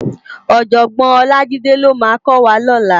Òjògbòn Olajide ló má kò wá lòlá